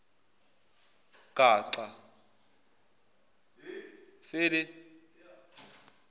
gaxa